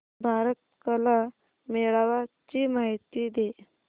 भारत कला मेळावा ची माहिती दे